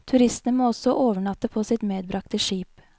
Turistene må også overnatte på sitt medbragte skip.